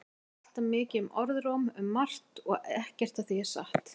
Það er alltaf mikið um orðróm um margt og ekkert af því er satt.